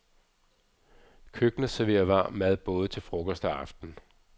Køkkenet serverer varm mad både til frokost og aften.